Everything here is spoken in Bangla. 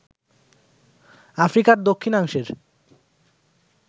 আফ্রিকার দক্ষিণাংশের